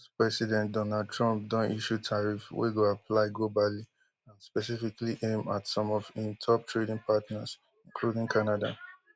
us president donald trump don issue tariff wey go apply globally and specifically aim at some of im top trading partners including canada